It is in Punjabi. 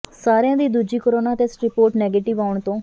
ਸਾਰਿਆਂ ਦੀ ਦੂਜੀ ਕੋਰੋਨਾ ਟੈਸਟ ਰਿਪੋਰਟ ਨੈਗੇਟਿਵ ਆਉਣ ਤੋਂ